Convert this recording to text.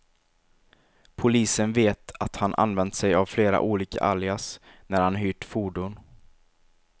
Polisen vet att han använt sig av flera olika alias, när han hyrt fordon.